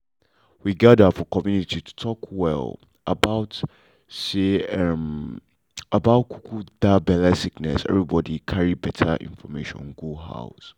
we gather for community to talk um about um um about um that belle sickness everybody carry better information go house.